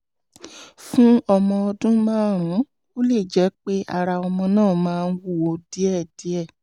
fún ọmọ ọdún márùn-ún ó lè jẹ́ pé ara ọmọ náà máa ń wú díẹ̀díẹ̀